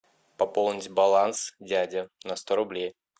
пополнить баланс дядя на сто рублей